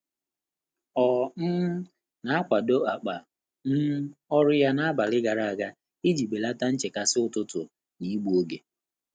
Ọ́ um nà-àkwàdèbé ákpá um ọ́rụ́ yá n’ábàlị̀ gàrà ága ìjí bèlàtà nchékàsị́ ụ́tụ́tụ̀ nà ígbú óge.